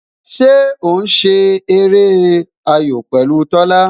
Ṣé o ń ṣe eré ayò pẹ̀lú Tola?